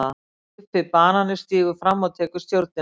GUFFI BANANI stígur fram og tekur stjórnina.